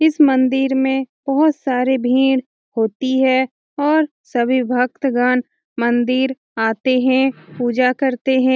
इस मंदिर में बहुत सारे भीड़ होती है और सभी भक्तगण मंदिर आते हैं पूजा करते हैं |